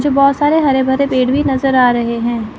मुझे बहोत सारे हरे भरे पेड़ भी नजर आ रहे हैं।